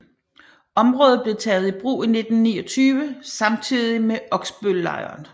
Området blev taget i brug i 1929 samtidig med Oksbøllejren